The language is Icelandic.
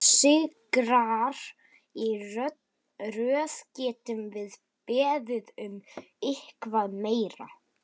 Þrír sigrar í röð, getum við beðið um eitthvað meira?